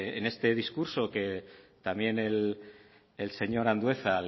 este discurso que también el señor andueza